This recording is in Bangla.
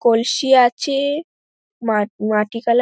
কলসি আছে মা মাটি কালার --